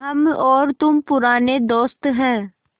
हम और तुम पुराने दोस्त हैं